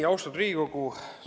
Austatud Riigikogu!